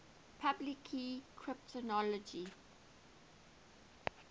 public key cryptography